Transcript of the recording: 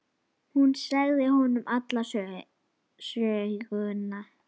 Hún sagði honum alla söguna.